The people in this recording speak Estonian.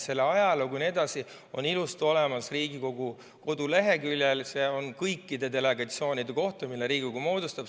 Selle ajalugu jne on ilusti olemas Riigikogu koduleheküljel, seal on kõikide delegatsioonide kohta, mida Riigikogu moodustab.